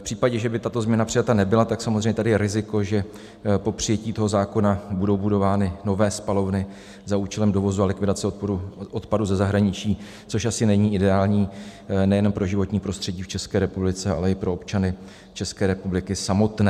V případě, že by tato změna přijata nebyla, tak samozřejmě tady je riziko, že po přijetí toho zákona budou budovány nové spalovny za účelem dovozu a likvidace odpadu ze zahraničí, což asi není ideální nejenom pro životní prostředí v České republice, ale i pro občany České republiky samotné.